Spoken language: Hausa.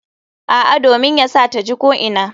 A'a, domin yana sa ta ji ko'ina.